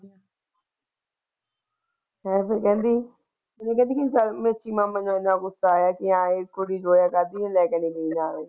ਹੋਰ ਫ਼ੇਰ ਕਹਿੰਦੀ ਮੈਨੂੰ ਇਹਨਾਂ ਗੁੱਸਾ ਆਇਆ ਕੀ ਇੱਕੋ ਜੀ ਦਵਾ ਕਿਉਂ ਨੀ ਲੈਕੇ ਗਈ?